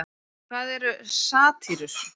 En hvað eru satírur?